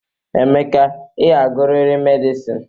Emeka, ị ga-agụrịrị medịsịn